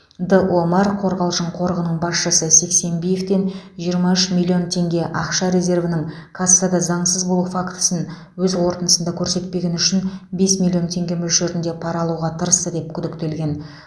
д омар қорғалжың қорығының басшысы а сексенбиевтен жиырма үш миллион теңге ақша резервінің кассада заңсыз болу фактісін өз қорытындысында көрсетпегені үшін бес миллион теңге мөлшерінде пара алуға тырысты деп күдіктелген